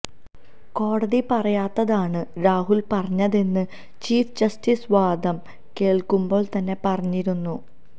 കോടതി പറയാത്തതാണ് രാഹുല് പറഞ്ഞതെന്ന് ചീഫ് ജസ്റ്റിസ് വാദം കേള്ക്കുമ്പോള് തന്നെ പറഞ്ഞിരുന്നു